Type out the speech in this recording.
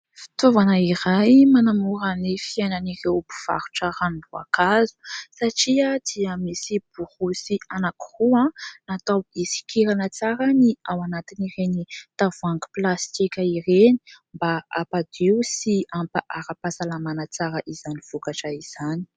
Fitaovana iray manamora ny fiainan'ireo mpivarotra ranom-boankazo satria dia misy borosy anankiroa natao hisokirana tsara ny ao anatin'ireny tavoahangy plastika ireny mba hampadio sy hampa ara-pahasalamana tsara izany vokatra izany.